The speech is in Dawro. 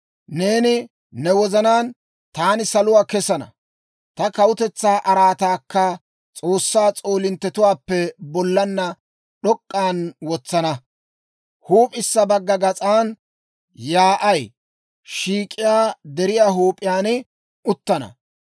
Neeni ne wozanaan, ‹Taani saluwaa kesana; ta kawutetsaa araataakka S'oossaa s'oolinttetuwaappe bollaanna d'ok'k'an wotsana; huup'issa bagga gas'an, yaa'ay shiik'iyaa deriyaa huup'iyaan uttana.